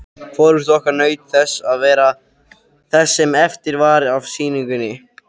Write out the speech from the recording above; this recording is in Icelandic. Hvorugt okkar naut þess sem eftir var af sýningunni.